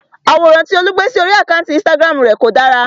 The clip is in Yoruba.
Àwòrán tí Olú gbé sí orí àkántì Instagram rè kò dára.